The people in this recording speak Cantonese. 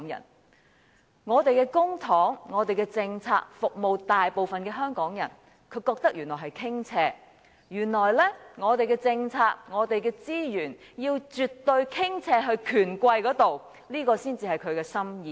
原來他認為將我們的公帑和政策服務大部分的香港人是一種傾斜；原來我們的政策和資源要絕對傾斜到權貴，才合他的心意。